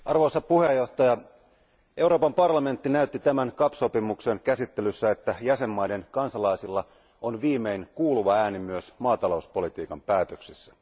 Arvoisa puhemies, Euroopan parlamentti näytti tämän CAP sopimuksen käsittelyssä, että jäsenvaltioiden kansalaisilla on viimein kuuluva ääni myös maatalouspolitiikan päätöksissä.